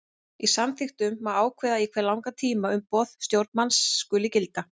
Í samþykktum má ákveða í hve langan tíma umboð stjórnarmanns skuli gilda.